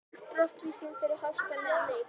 Brottvísun fyrir háskalegan leik?